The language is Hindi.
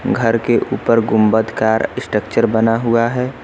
घर के ऊपर गुंबदकार स्ट्रक्चर बना हुआ है।